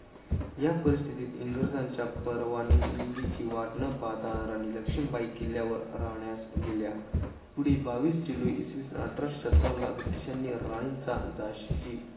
या परिस्थितीत इंग्रजांच्या परवानगीची वाट न पाहता राणी लक्ष्मीबाई किल्यावर राहण्यास गेल्या. पुढील बावीस जुलै इसवीसन अठराशे सत्तावन्नला ब्रिटिशांनी राणीचा झाशीची